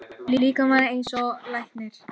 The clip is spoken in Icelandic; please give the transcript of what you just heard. Kalmann, lækkaðu í hátalaranum.